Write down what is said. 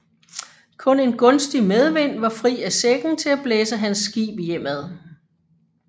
Kun en gunstig medvind var fri af sækken til at blæse hans skib hjemad